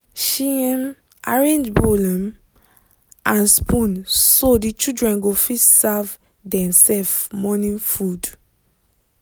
she um arrange bowl um and spoon so the children go fit serve dem-self morning food.